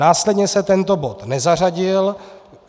Následně se tento bod nezařadil.